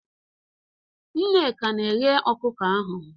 Nneka na-eghe ọkụkọ ahụ.